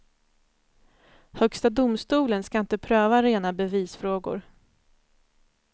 Högsta domstolen ska inte pröva rena bevisfrågor.